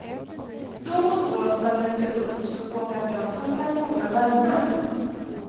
Då och då stannade de upp och slog åkarbrasa för att hålla värmen.